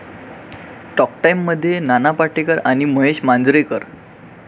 talk टाइममध्ये नाना पाटेकर आणि महेश मांजरेकर